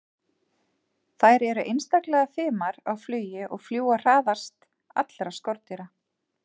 Þær eru einstaklega fimar á flugi og fljúga hraðast allra skordýra.